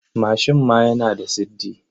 Mashin ma yana da siddi.